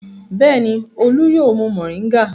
Bẹ́ẹ̀ni, Olú yóò mu mòríngà.